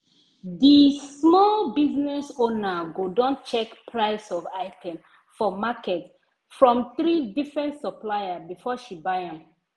di small business owner go don check price of item for market from three differnt supplier before she buy am.